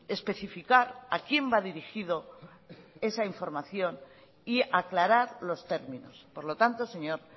especificar a quién va dirigido esa información y aclarar los términos por lo tanto señor